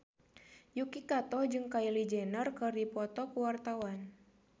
Yuki Kato jeung Kylie Jenner keur dipoto ku wartawan